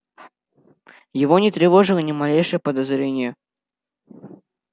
его не тревожило ни малейшее подозрение